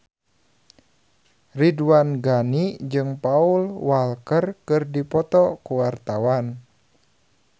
Ridwan Ghani jeung Paul Walker keur dipoto ku wartawan